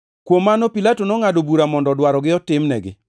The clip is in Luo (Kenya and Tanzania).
Kuom mano Pilato nongʼado bura mondo dwarogi otimnegi.